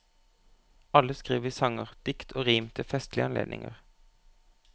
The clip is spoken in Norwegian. Alle skriver vi sanger, dikt og rim til festlige anledninger.